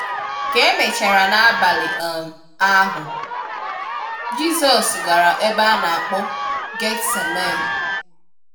Ka emechara n'abali um ahu, Jisọs gara ebe a na akpọ Gethsemane.